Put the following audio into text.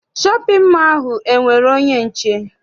Shọpịn mọọ ahụ enwere onye nche?